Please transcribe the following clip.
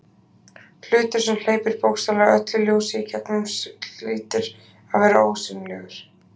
Hlutur sem hleypir bókstaflega öllu ljósi í gegn hlýtur að vera ósýnilegur.